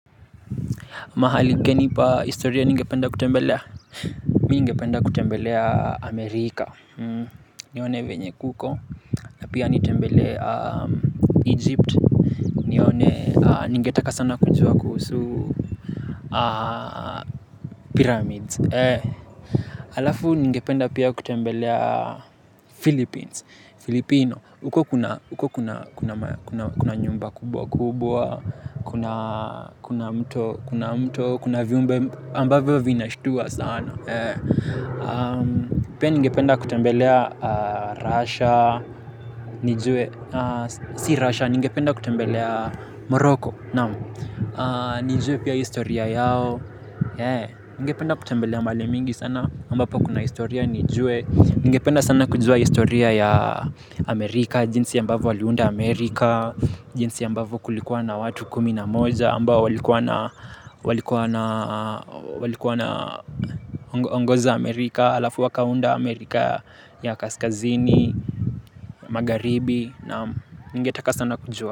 Mahali gani pa historia ningependa kutembelea. Mi ningependa kutembelea Amerika. Nione venye kuko. Na pia nitembelea Egypt. Nione. Ningetaka sana kujua kuhusu. Pyramids. Halafu ningependa pia kutembelea Philippines. Ufilipino. Huko kuna nyumba kubwa kubwa, kuna kuna mto. Kuna mto. Kuna viumbe ambavyo vinashitua sana. Pia ningependa kutembelea Russia. Nijue. Si Russia, nigependa kutembelea Morocco. Nijue pia historia yao. Ningependa kutembelea mahali mingi sana ambapo kuna historia nijue. Ningependa sana kujua historia ya Amerika, jinsi ambavyo waliunda Amerika. Jinsi ambavyo kulikuwa na watu kumi na moja ambao walikuwa na walikuwa na ongoza Amerika alafu wakaunda Amerika ya Kaskazini, Magharibi na ningetaka sana kujua.